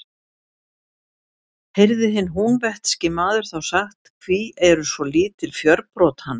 Heyrði hinn húnvetnski maður þá sagt: Hví eru svo lítil fjörbrot hans?